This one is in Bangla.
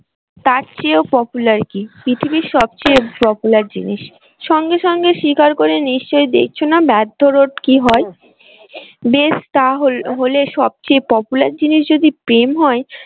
তার চেয়েও popular কি? পৃথিবীর সব চেয়ে popular জিনিস। সঙ্গে সঙ্গে শিকার করে নিশ্চই দেখছো না ব্যর্থ কি হয় বেশ সব চেয়ে popular জিনিস যদি প্রেম হয়